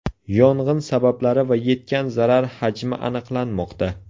Yong‘in sabablari va yetgan zarar hajmi aniqlanmoqda.